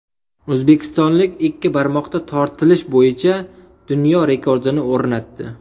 O‘zbekistonlik ikki barmoqda tortilish bo‘yicha dunyo rekordini o‘rnatdi .